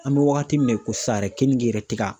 An be wagati min na i ko sisan yɛrɛ keninke yɛrɛ te ka